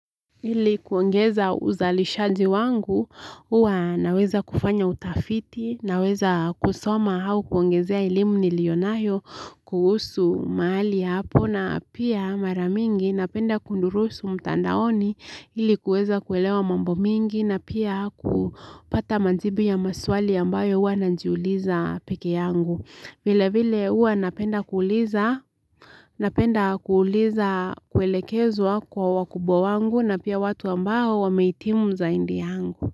Ili kuongeza uzalishaji wangu, huwa naweza kufanya utafiti, naweza kusoma au kuongezea elimu nilionayo kuhusu mahali hapo na pia mara mingi napenda kudurusu mtandaoni ili kuweza kuelewa mambo mingi na pia kupata majibu ya maswali ambayo huwa najiuliza pekee yangu. Vile vile huwa napenda kuuliza, napenda kuuliza kuelekezwa kwa wakubwa wangu na pia watu ambao wameitimu zaidi yangu.